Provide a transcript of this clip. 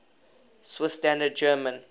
swiss standard german